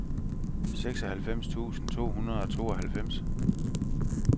seksoghalvfems tusind to hundrede og tooghalvfems